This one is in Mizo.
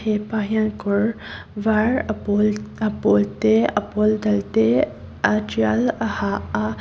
hepa hian kawr vâr a pâwl te a pâwl dal te a ṭial a ha a--